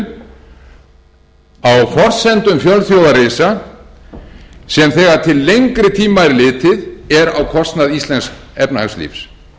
fjölþjóðarisa sem þegar til lengri tíma er litið er á kostnað íslensks efnahagslífs